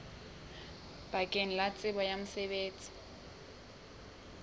bakeng la tsebo ya mosebetsi